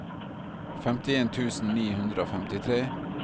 femtien tusen ni hundre og femtitre